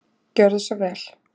Gjörðu svo vel.